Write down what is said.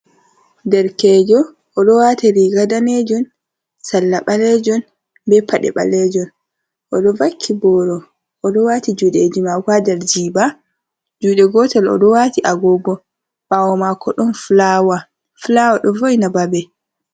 Derkejo, o ɗo wati riga danejum salla balejoum be paɗe balejum, o ɗo vakki boro, o ɗo waati juɗeji mako haa der jiba juɗe gotel, o ɗo wati agogo, ɓawo mako ɗon fulawa ɗo vo'ina babe.